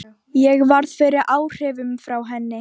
Ég varð fyrir áhrifum frá henni.